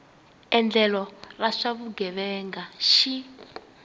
endlelo ra swa vugevenga xi